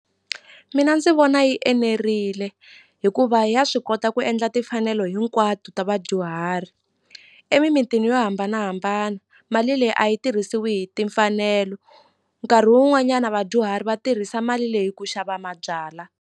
Mina ndzi vona yi enerile hikuva ya swi kota ku endla timfanelo hinkwato ta vadyuhari emimitini yo hambanahambana mali leyi a yi tirhisiwi hi timfanelo nkarhi wun'wanyana vadyuhari va tirhisa mali leyi ku xava mabyala.